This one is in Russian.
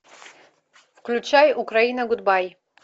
включай украина гудбай